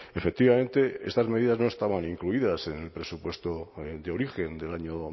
efectivamente estas medidas no estaban incluidas en el presupuesto de origen del año